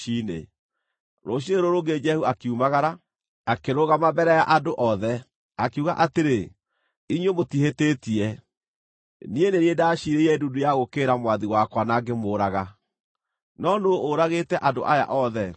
Rũciinĩ rũrũ rũngĩ Jehu akiumagara. Akĩrũgama mbere ya andũ othe, akiuga atĩrĩ, “Inyuĩ mũtihĩtĩtie. Niĩ nĩ niĩ ndaciirĩire ndundu ya gũũkĩrĩra mwathi wakwa na ngĩmũũraga, no nũũ ũragĩte andũ aya othe?